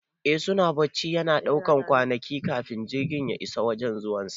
Eh suna bacci, yana ɗaukan kwanaki kafin jirgin ya isa wajan zuwan sa